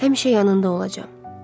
Həmişə yanında olacam.